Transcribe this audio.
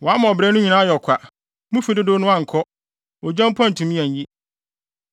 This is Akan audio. Wama ɔbrɛ no nyinaa ayɛ kwa; mu fi dodow no ankɔ, ogya mpo antumi anyi.